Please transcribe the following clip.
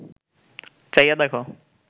চাইয়া দেখ